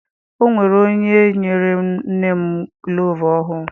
Ọ nwere onye nyere nne m gulovu ọhụụ.